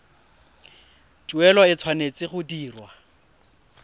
tuelo e tshwanetse go dirwa